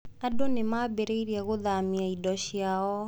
Andũ nĩ maambĩrĩirie gũthamia indo ciao.